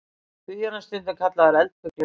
Því er hann stundum kallaður eldfuglinn.